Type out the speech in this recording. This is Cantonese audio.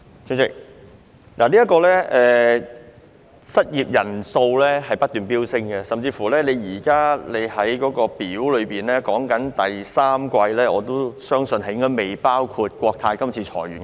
主席，失業人數不斷飆升，我相信主體答覆列表所示的第三季數字可能尚未計入國泰航空今次的裁員人數。